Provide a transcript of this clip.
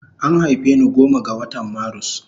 An haife ni goma ga watan marus